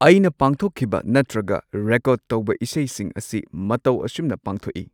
ꯑꯩꯅ ꯄꯥꯡꯊꯣꯛꯈꯤꯕ ꯅꯠꯇ꯭ꯔꯒ ꯔꯦꯀꯣꯔꯗ ꯇꯧꯕ ꯏꯁꯩꯁꯤꯡ ꯑꯁꯤ ꯃꯇꯧ ꯑꯁꯨꯝꯅ ꯄꯥꯡꯊꯣꯛꯏ꯫